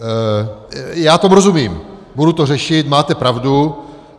Já tomu rozumím, budu to řešit, máte pravdu.